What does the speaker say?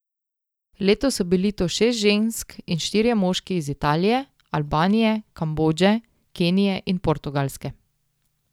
Letos so bili to šest žensk in štirje moški iz Italije, Albanije, Kambodže, Kenije in Portugalske.